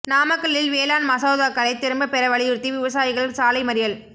நாமக்கலில் வேளாண் மசோதாக்களை திரும்ப பெற வலியுறுத்தி விவசாயிகள் சாலை மறியல்